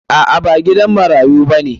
A'a ba gidan marayu bane.